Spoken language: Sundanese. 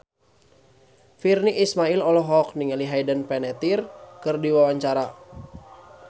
Virnie Ismail olohok ningali Hayden Panettiere keur diwawancara